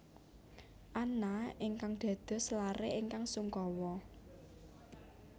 Anna ingkang dados laré ingkang sungkawa